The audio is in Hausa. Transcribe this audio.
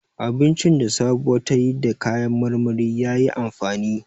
Abincin da Sabuwa ta yi da kayan marmari ya yi amfani.